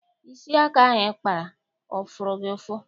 Isi aka ahụ ị kpara ọ fụrụ gị ụfụ?